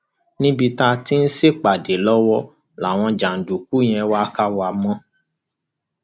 níbi tá a ti ń ṣèpàdé lọwọ làwọn jàǹdùkú yẹn wàá kà wá mọ